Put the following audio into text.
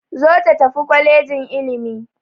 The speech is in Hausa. Zo ta tafi kwalejin ilimi!